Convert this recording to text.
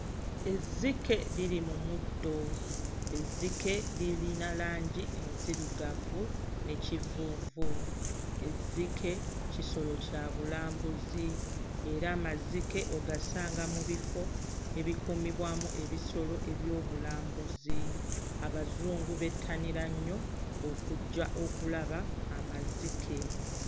Ezzike liri mu muddo. Ezzike lirina langi enzirugavu ne kivuuvu. Ezzike kisolo kya bulambuzi era amazike ogasanga mu bifo ebikuumibwamu ebisolo ebyobulambuzi. Abazungu bettanira nnyo okujja okulaba amazike.